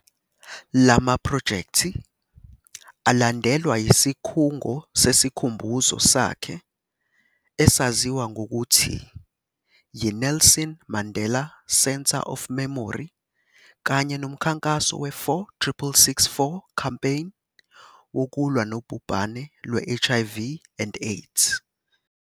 La maprojekthi alandelwa yisikhungo sesikhumbuzo sakhe esaziwa ngokuthi yi-Nelson Mandela Centre of Memory kanye nomkhankaso we-46664 campaign wokulwa nobhubhane lwe-HIV and AIDS.